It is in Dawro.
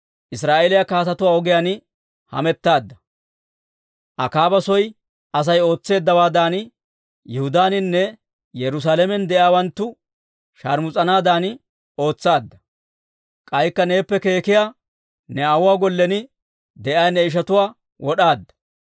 Israa'eeliyaa kaatetuwaa ogiyaan hamettaadda. Akaaba soy Asay ootseeddawaadan, Yihudaaninne Yerusaalamen de'iyaawanttu sharmus'anaadan ootsaadda. K'aykka neeppe keekkiyaa, ne aawuwaa gollen de'iyaa ne ishatuwaa wod'aadda.